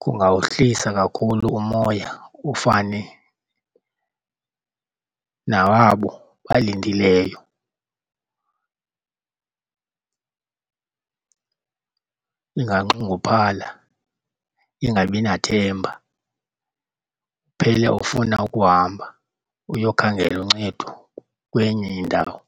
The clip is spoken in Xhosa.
Kungawuhlisa kakhulu umoya ufane nawabo balindileyo. Inganxunguphala ingabi nathemba, uphele ufuna ukuhamba uyokhangela uncedo kwenye indawo.